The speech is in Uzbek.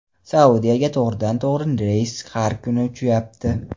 Saudiyaga to‘g‘ridan-to‘g‘ri reys har kuni uchyapti.